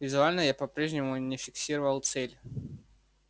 визуально я по-прежнему не фиксировал цель